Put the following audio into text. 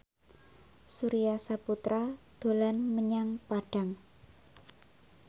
Surya Saputra dolan menyang Padang